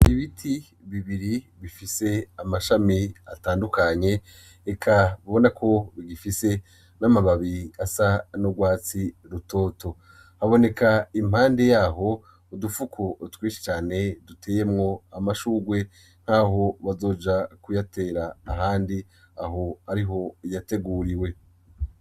Ibiti bibiri bifise amashami atandukanye eka babona ko bigifise n'amababi asa no rwatsi rutoto haboneka impandi yaho udupfuko utwishi cane duteyemwo amashurwe nk'aho bazoja kuyatera ahandi ahoe iho yateguriwe.